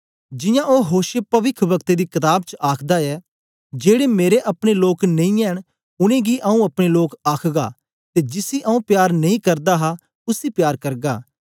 जियां ओ होशे पविख्ब्कते दी कताब च आखदा ऐ जेड़े मेरे अपने लोक नेई ऐ न उनेंगी आंऊँ अपने लोक आखगा ते जिसी आंऊँ प्यार नेई करदा हा उसी प्यार करगा